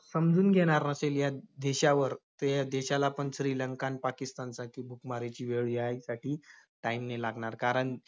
समजून घेणार नसेल या देशावर, त~ या देशाला पण श्रीलंका आन पाकिस्तानसारखी भूकमारीची वेळ यायसाठी time नाही लागणार. कारण